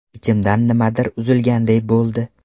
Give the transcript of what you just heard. Ichimdan nimadir uzilganday bo‘ldi.